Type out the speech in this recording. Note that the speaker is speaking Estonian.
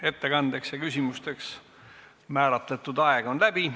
Ettekandeks ja küsimusteks määratud aeg on läbi.